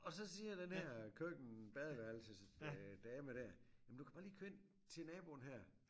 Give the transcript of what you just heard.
Og så siger den her køkken badeværelses øh dame der jamen du kan bare lige køre ind til naboen her